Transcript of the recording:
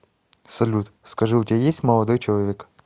салют скажи у тебя есть молодой человек